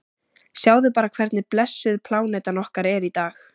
Sjáðu bara hvernig blessuð plánetan okkar er í dag.